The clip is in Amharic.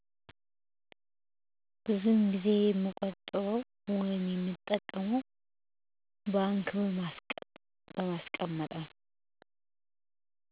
ባንክ ነዉ የምጠቀመዉ